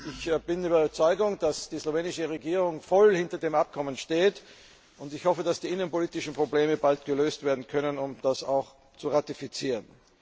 Ich bin überzeugt, dass die slowenische Regierung voll hinter dem Abkommen steht, und ich hoffe, dass die innenpolitischen Probleme bald gelöst werden können, um die Vereinbarung auch zu ratifizieren.